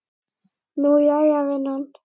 Nú, jæja, vinan.